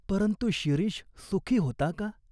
परंतु शिरीष सुखी होता का?